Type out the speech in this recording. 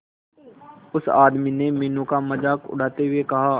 उस आदमी ने मीनू का मजाक उड़ाते हुए कहा